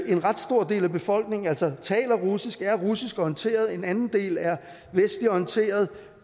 en ret stor del af befolkningen taler russisk er russisk orienteret og en anden del er vestligt orienteret